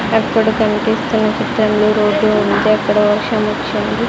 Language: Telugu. అప్పుడు కనిపిస్తున్న చిత్రంలో రోడ్డు ఉంటే అక్కడ వర్షం వచ్చింది.